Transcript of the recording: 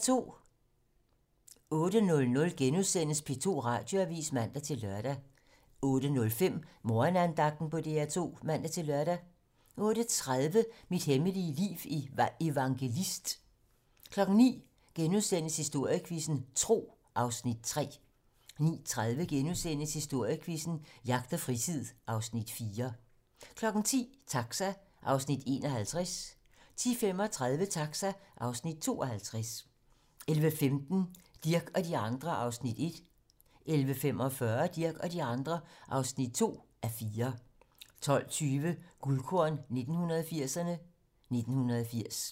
08:00: P2 Radioavis *(man-lør) 08:05: Morgenandagten på DR2 (man-lør) 08:30: Mit hemmelige liv i Evangelist 09:00: Historiequizzen: Tro (Afs. 3)* 09:30: Historiequizzen: Jagt og fritid (Afs. 4)* 10:00: Taxa (Afs. 51) 10:35: Taxa (Afs. 52) 11:15: Dirch og de andre (1:4) 11:45: Dirch og de andre (2:4) 12:20: Guldkorn 1980'erne: 1980